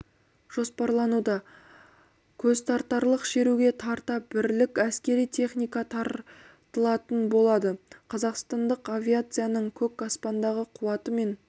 жоспарлануда көзтартарлық шеруге тарта бірлік әскери техника тартылатын болады қазақстандық авиацияның көк аспандағы қуаты мен